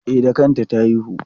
E, da kanta ta haihu.